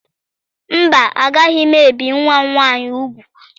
Mba, agaghị m ebi nwa m nwaanyị ugwu.